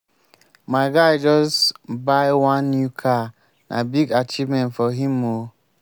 my guy just buy one new car na big achievement for him o.